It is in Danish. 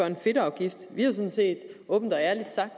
en fedtafgift vi har sådan set åbent og ærligt sagt